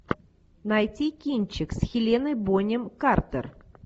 найти кинчик с хеленой бонем картер